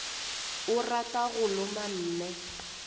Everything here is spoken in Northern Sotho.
o rata go loma mme